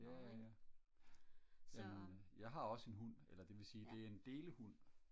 jaja jamen jeg har også en hund eller det vil sige det er en delehund